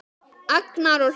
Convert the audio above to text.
Agnar og Hlíf.